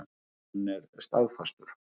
Hann er staðfastur.